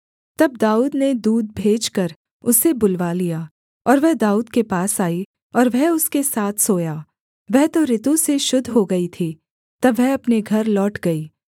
तब दाऊद ने दूत भेजकर उसे बुलवा लिया और वह दाऊद के पास आई और वह उसके साथ सोया वह तो ऋतु से शुद्ध हो गई थी तब वह अपने घर लौट गई